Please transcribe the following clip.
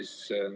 Hea küsija!